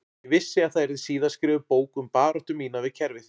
Ég vissi að það yrði síðar skrifuð bók um baráttu mína við kerfið